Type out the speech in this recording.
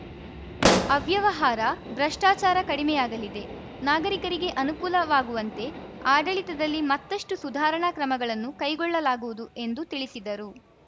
ಅವ್ಯವಹಾರ ಭ್ರಷ್ಟಾಚಾರ ಕಡಿಮೆಯಾಗಲಿದೆ ನಾಗರಿಕರಿಗೆ ಅನುಕೂಲವಾಗುವಂತೆ ಆಡಳಿತದಲ್ಲಿ ಮತ್ತಷ್ಟುಸುಧಾರಣಾ ಕ್ರಮಗಳನ್ನು ಕೈಗೊಳ್ಳಲಾಗುವುದು ಎಂದು ತಿಳಿಸಿದರು